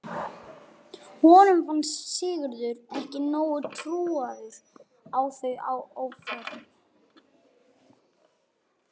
Honum fannst Sigurður ekki nógu trúaður á þau áform.